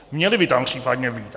Měly by tam případně být.